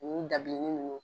Unun dabilenin nunnu.